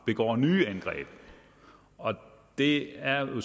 begår nye angreb og det er jo